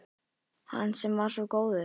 Hann sem var svo góður